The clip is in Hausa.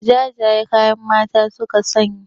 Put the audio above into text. Jajayen kaya mata suka sanya